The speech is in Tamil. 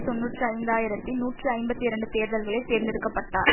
தொன்னூற்றி ஐந்து ஆயிரத்தி நூற்றி ஐம்பத்தி இரண்டு தேர்தல்களில் தேர்ந்தெடுக்க பட்டார்